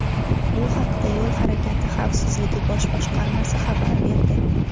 Bu haqda Yo‘l harakati xavfsizligi bosh boshqarmasi xabar berdi .